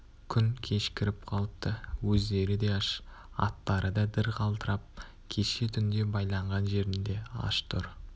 күн кешкіріп қалыпты өздері де аш аттары да дір қалтырап кеше түнде байланған жерінде аш тұр